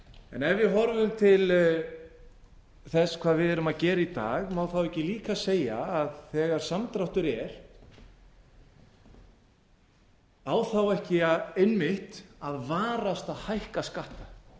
en ef við horfum til þess hvað við erum að gera í dag má ekki líka segja að þegar samdráttur er á ekki einmitt að varast að hækka skatta